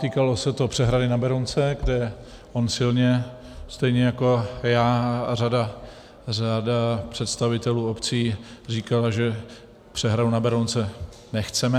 Týkalo se to přehrady na Berounce, kde on silně, stejně jako já a řada představitelů obcí, říkal, že přehradu na Berounce nechceme.